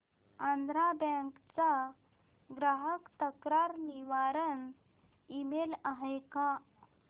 Andhra bank चा ग्राहक तक्रार निवारण ईमेल आहे का